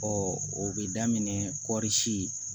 o bɛ daminɛ kɔri si